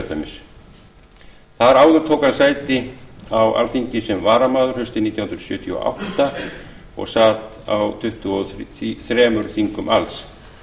austurlandskjördæmis þar áður tók hann sæti á alþingi sem varamaður haustið nítján hundruð sjötíu og átta og sat á tuttugu og þremur þingum alls